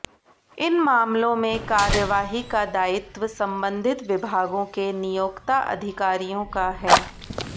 इन मामलों में कार्यवाही का दायित्व संबधित विभागों के नियोक्ता अधिकारियों का है